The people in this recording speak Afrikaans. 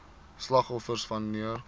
slagoffers wan neer